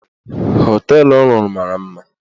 Họteelụ ọ rụrụ mara mma.